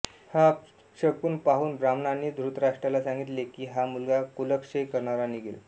हा अपशकुन पाहून ब्राह्मणांनी धृतराष्ट्राला सांगितले की हा मुलगा कुलक्षय करणारा निघेल